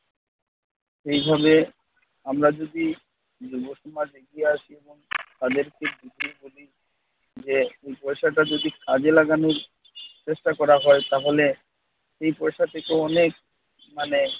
এই ভাবে আমরা যদি দুই বছর বাদে এগিয়ে আসি এবং তাদেরকে বুঝিয়ে বলি যে এই পয়সাটা যদি কাজে লাগানোর চেষ্টা করা হয় তাহলে এই পয়সা থেকে অনেক মানে